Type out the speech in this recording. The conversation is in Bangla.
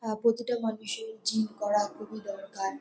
আ প্রতিটা মানুষের জিম করা খুবই দরকার।